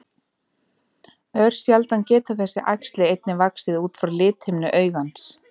Örsjaldan geta þessi æxli einnig vaxið út frá lithimnu augans.